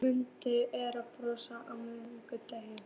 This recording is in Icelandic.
Muggi, er bolti á miðvikudaginn?